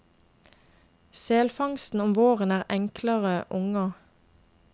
Selfangsten om våren er enklere unger.